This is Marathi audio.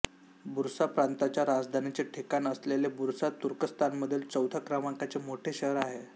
बुर्सा प्रांताच्या राजधानीचे ठिकाण असलेले बुर्सा तुर्कस्तानमधील चौथ्या क्रमांकाचे मोठे शहर आहे